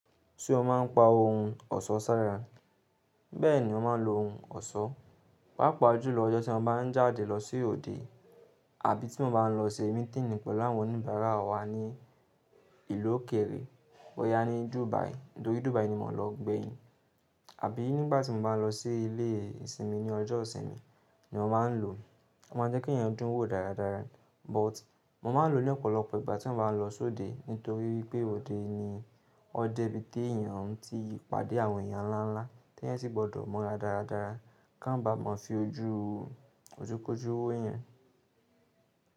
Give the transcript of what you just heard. Tí o máa ń pa ohun ọ̀ṣọ́ sára, bẹ́ẹ̀ ni ó máa ń lo ohun ọ̀ṣọ́. Pápá ojú lọ́jọ́ tí mo bá ń jáde lọ sí òde àbí tí mo bá ń lọ ṣe meeting pẹ̀lú àwọn oníbàárà wa ní ìlú òkèrè, wọ̀nyá ní Dubai, nítorí Dubai ni mò ń lọ gbẹ̀yìn. Àbí nígbà tí mo bá lọ sí ilé ìsinmi ní ọjọ́ ìsinmi ni ó máa ń lò. Ó máa ń jẹ́ kí èèyàn dún wò dáradára, but mo máa lò ó ní ọ̀pọ̀lọpọ̀ ìgbà tí mo bá ń lọ sóde nítorí wípé òde ni ọdẹbí tí èyàn ti pàdé àwọn èyàn ńlá ńlá tí ẹ́ sì gbọ́dọ̀ mọ́ra dáradára ká má bà mọ́ fi ojú ojukójú wò èyàn.